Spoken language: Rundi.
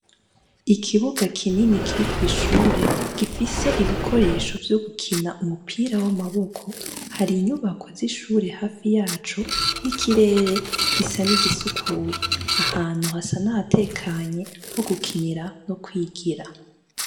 Ikibuga kinini kuri kw'ishure, gifise ibikoresho vyo gukina umupira w'amaboko. Hari inyubako z'ishure hafi yaco, n'ikirere gusa n'igisukuye. Ahantu hasa n'ahatekanye, ho gukinira no kwigira.